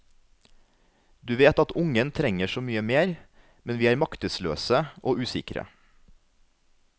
Du vet at ungen trenger så mye mer, men vi er maktesløse og usikre.